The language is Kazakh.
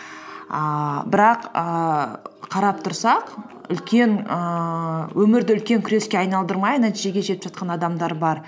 ііі бірақ ііі қарап тұрсақ үлкен ііі өмірді үлкен күреске айналдырмай нәтижеге жетіп жатқан адамдар бар